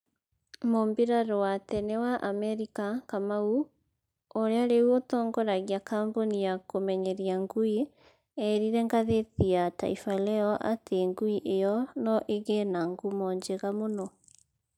Mũmbirarũ wa tene wa Amerika ,kamau, ũrĩa rĩu ũtongoragia kambuni ya kũmenyeria ngui, eerire ngathĩti ya Taifaleo atĩ ngui ĩyo no ĩgĩe na ngumo njega mũno.